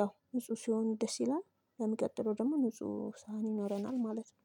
ያው ንጹህ ሲሆን ደስ ይላል ለሚቀጥለው ደግሞ ንጹህ ሳህን ይኖረናል ማለት ነው።